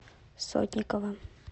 сотникова